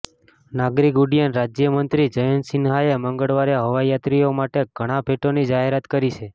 નાગરિક ઉડ્ડયન રાજ્યમંત્રી જયંત સિન્હાએ મંગળવારે હવાઇ યાત્રીઓ માટે ઘણા ભેટોની જાહેરાત કરી છે